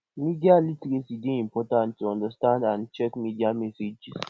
media literacy dey important to understand and check media messages